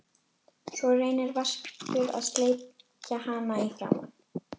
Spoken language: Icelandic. Svo reynir Vaskur að sleikja hann í framan.